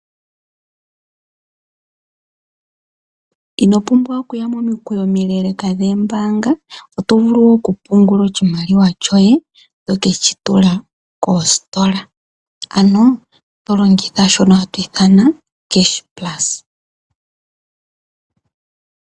Ino pumbwa okuya momikweyo omileleka dhoombanga. Oto vulu okupungula oshimaliwa shoye toke shi tula koositola. Ano to longitha shono hatu ithana cashplus.